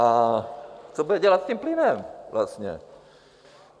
A co bude dělat s tím plynem vlastně?